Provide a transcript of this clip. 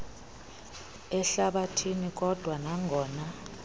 ehlabathini kodwa nangona